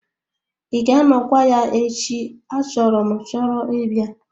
Ị ga-anọkwa ya echi achọrọ m chọrọ ịbịa?